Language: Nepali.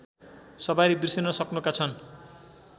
सवारी बिर्सिनसक्नुका छन्